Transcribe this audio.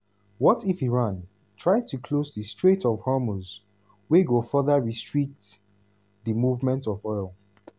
what if iran try to close di strait of hormuz wey go further restrict di movement of oil?